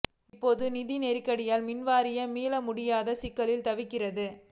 இப்போது நிதி நெருக்கடியால் மின்வாரியம் மீளவே முடியாத சிக்கலில் தவிக்கிறது